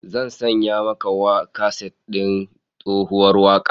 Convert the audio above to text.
Zan sanya maka kaset din tsohuwar wakar